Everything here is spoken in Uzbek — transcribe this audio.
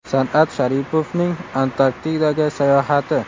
San’at Sharipovning Antarktidaga sayohati.